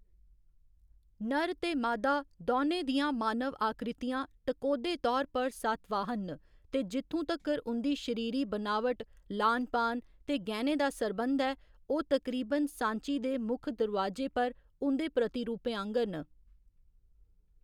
नर ते मादा दौनें दियां मानव आकृतियां, टकोह्‌दे तौर पर सातवाहन न ते जित्थूं तक्कर ​​उं'दी शरीरी बनावट, लान पान ते गैह्‌‌‌ने दा सरबंध ऐ, ओह् तकरीबन सांची दे मुक्ख दरोआजै पर उं'दे प्रतिरूपें आंह्‌गर न।